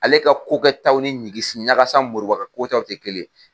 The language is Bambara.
Ale ka kokɛtaw ni ɲikisiɲakasa MORIBA ka kokɛtaw tɛ kelen ye.